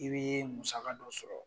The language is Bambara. I be musaka dɔ sɔrɔ.